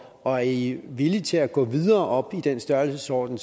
og er i villige til at gå videre op i den størrelsesorden